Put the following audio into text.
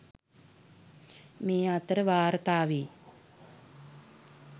මේ අතර වාර්තා වේ.